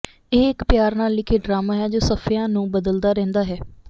ਇਹ ਇੱਕ ਪਿਆਰ ਨਾਲ ਲਿਖੇ ਡਰਾਮਾ ਹੈ ਜੋ ਸਫ਼ਿਆਂ ਨੂੰ ਬਦਲਦਾ ਰਹਿੰਦਾ ਹੈ